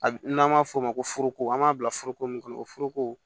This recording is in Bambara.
A bi n'an m'a f'o ma ko foroko an b'a bila foroko mun kɔnɔ o foroko